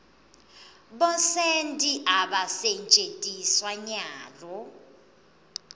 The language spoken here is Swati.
bosenti abasentjetiswa nyalo